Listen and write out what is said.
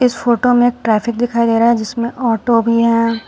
इस फोटो में ट्रैफिक दिखाई दे रहा है जिसमें ऑटो भी है।